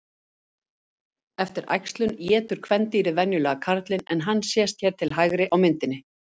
Eftir æxlun étur kvendýrið venjulega karlinn en hann sést hér til hægri á myndinni.